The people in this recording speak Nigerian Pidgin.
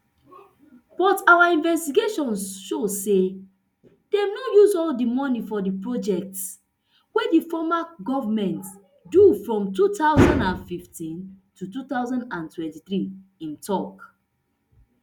but our investigation show say dem no use all di money for di projects wey di former goment do from two thousand and fifteen to two thousand and twenty-three im tok